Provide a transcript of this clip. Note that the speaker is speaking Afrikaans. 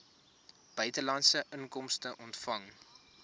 buitelandse inkomste ontvang